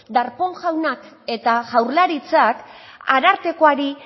darpón jaunak eta jaurlaritzak arartekoari